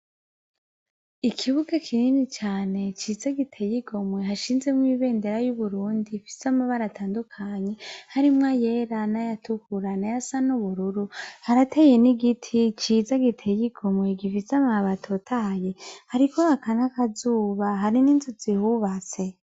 Ikibuga kinini cane ciza giteye igomwe hashinzemwo ibendera y'Uburundi ifise amabara atandukanye harimwo ayera n'ayatuhurana n'ayasa n'ubururu, harateye n'igiti ciza giteye igomwe gifise amababi atotahaye, hariko haka n'akazuba hari n'inzu zihubatse.